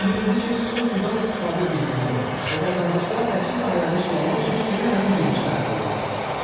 Bildirildi ki, su sudan istifadə birliyinə verilir və vətəndaşlar əkin sahələrini sulamaq üçün suyu həmin birlikdən əldə edirlər.